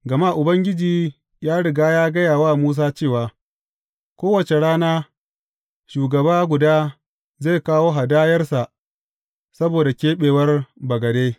Gama Ubangiji ya riga ya gaya wa Musa cewa, Kowace rana, shugaba guda zai kawo hadayarsa saboda keɓewar bagade.